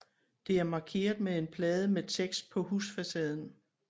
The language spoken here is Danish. Det er markeret med en plade med tekst på husfacaden